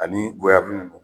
Ani